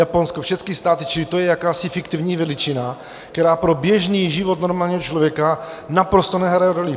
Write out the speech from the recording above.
Japonsko, všechny státy, čili to je jakási fiktivní veličina, která pro běžný život normálního člověka naprosto nehraje roli.